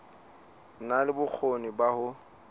na le bokgoni ba ho